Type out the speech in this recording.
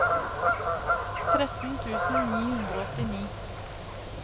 tretten tusen ni hundre og åttini